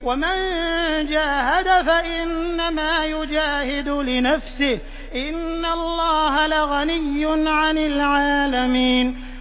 وَمَن جَاهَدَ فَإِنَّمَا يُجَاهِدُ لِنَفْسِهِ ۚ إِنَّ اللَّهَ لَغَنِيٌّ عَنِ الْعَالَمِينَ